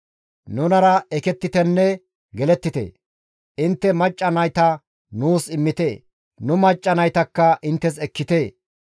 Nunara ekettitenne gelettite; intte macca nayta nuus immite; nu macca naytakka inttes ekkite.